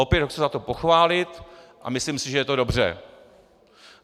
Opět ho chci za to pochválit a myslím si, že je to dobře.